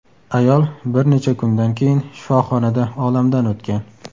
Ayol bir necha kundan keyin shifoxonada olamdan o‘tgan.